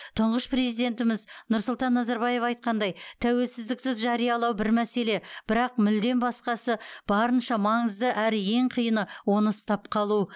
тұңғыш президентіміз нұрсұлтан назарбаев айтқандай тәуелсіздікті жариялау бір мәселе бірақ мүлдем басқасы барынша маңызды әрі ең қиыны оны ұстап қалу